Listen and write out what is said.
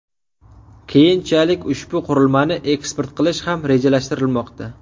Keyinchalik ushbu qurilmani eksport qilish ham rejalashtirilmoqda.